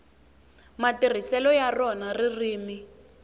matirhiselo ya rona ririmi